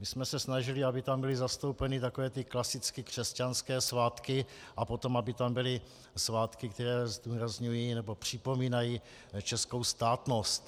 My jsme se snažili, aby tam byly zastoupeny takové ty klasicky křesťanské svátky a potom aby tam byly svátky, které zdůrazňují nebo připomínají českou státnost.